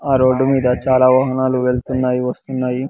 ఆ రోడ్ మీద చాలా వాహనాలు వెళ్తున్నాయి వస్తున్నాయి.